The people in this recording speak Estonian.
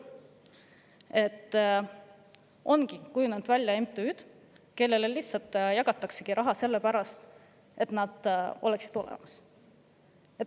Meil ongi kujunenud välja MTÜ-d, kellele jagatakse raha lihtsalt selle pärast, et nad olemas oleksid.